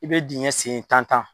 I bɛ dingɛ segin tan tan.